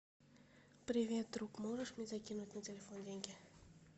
привет друг можешь мне закинуть на телефон деньги